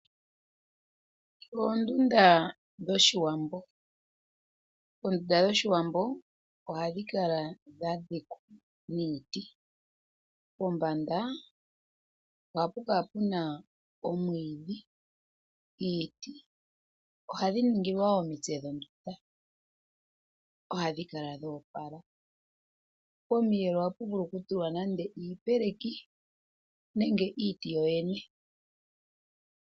Oonduda dho shiwambo, oonduda dho shiwambo oha dhikala dha dhikwa niiti, pombanda ohapukala puna omwiidhi, iiti ohadhi ningilwa woo omitse dhonduda oha dhikala dhoopola, pomiyelo ohapu vulu kutulwa nande iipeleki nenge iiti yoyene.